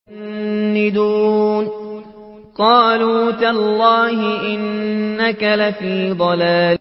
قَالُوا تَاللَّهِ إِنَّكَ لَفِي ضَلَالِكَ الْقَدِيمِ